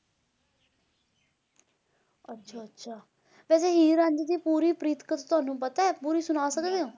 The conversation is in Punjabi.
ਅੱਛਾ ਅੱਛਾ ਤੇ ਵੈਸੇ ਹੀਰ ਰਾਂਝੇ ਦੀ ਪੂਰੀ ਪ੍ਰੀਤ ਕਥਾ ਤੁਹਾਨੂੰ ਪਤਾ ਹੈ ਪੂਰੀ ਸੁਣਾ ਸਕਦੇ ਊ